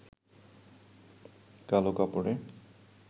কালো কাপড়ে